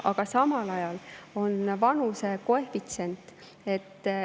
Aga samal ajal on vanusekoefitsient.